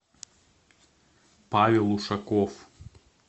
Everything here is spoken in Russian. павел ушаков